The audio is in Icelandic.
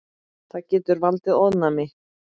Það getur valdið ofnæmi.